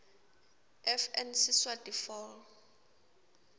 fn siswati fal